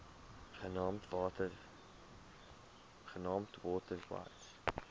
genaamd water wise